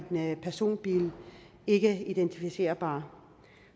personbil ikkeidentificerbar